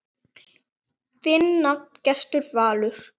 Þinn nafni, Gestur Valur.